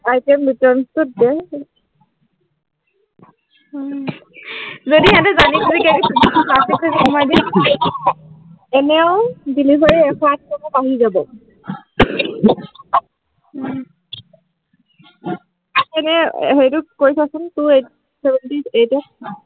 এনেই হেৰিটো কৰি চাচোন two eight, seventeen eight ৰ